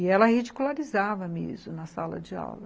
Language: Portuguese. E ela ridicularizava mesmo na sala de aula.